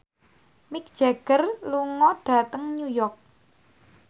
Mick Jagger lunga dhateng New York